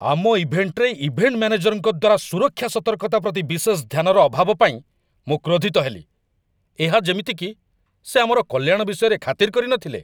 ଆମ ଇଭେଣ୍ଟରେ ଇଭେଣ୍ଟ ମ୍ୟାନେଜରଙ୍କ ଦ୍ୱାରା ସୁରକ୍ଷା ସତର୍କତା ପ୍ରତି ବିଶେଷ ଧ୍ୟାନର ଅଭାବ ପାଇଁ ମୁଁ କ୍ରୋଧିତ ହେଲି। ଏହା ଯେମିତି କି ସେ ଆମର କଲ୍ୟାଣ ବିଷୟରେ ଖାତିର କରିନଥିଲେ!